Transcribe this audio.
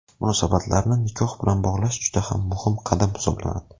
Munosabatlarni nikoh bilan bog‘lash juda ham muhim qadam hisoblanadi.